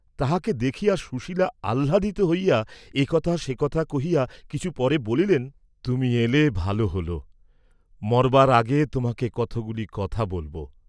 তাঁহাকে দেখিয়া সুশীলা আহ্লাদিত হইয়া এ কথা সে কথা কহিয়া কিছু পরে বলিলেন, 'তুমি এলে ভাল হল, মরবার আগে তোমাকে কতগুলি কথা বলব।'